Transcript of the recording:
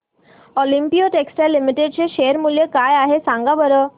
Olympia textiles limited चे share मूल्य काय आहे सांगा बरं